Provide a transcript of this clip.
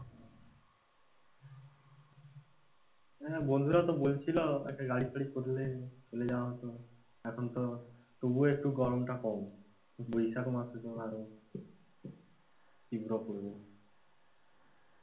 হ্যাঁ বন্ধুরাও তো বলছিল একটা গাড়ি ফাড়ি করলে চলে যাওয়া হত, এখন তো তবুও গরম টা একটু কম, বৈশাখ মাসে তো আরোই,